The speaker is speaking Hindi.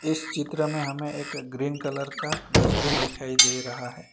इस चित्र में हमें एक ग्रीन कलर का डस्टबिन दिखाई दे रहा है।